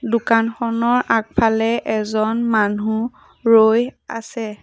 দোকানখনৰ আগফালে এজন মানুহ ৰৈ আছে।